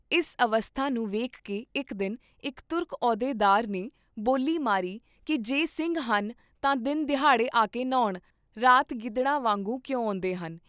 ਇਸ ਅਵਸਥਾ ਨੂੰ ਵੇਖਕੇ ਇਕ ਦਿਨ ਇਕ ਤੁਰਕ ਅਹੁਦੇ ਦਾਰ ਨੇ ਬੋਲੀ ਮਾਰੀ ਕੀ ਜੇ ਸਿੰਘ ਹਨ ਤਾਂ ਦਿਨ ਦਿਹਾੜੇ ਆਕੇ ਨ੍ਹਾਉਣ, ਰਾਤ ਗਿੱਦੜਾਂ ਵਾਂਗੂੰ ਕਿਉਂ ਆਉਂਦੇਹਨ?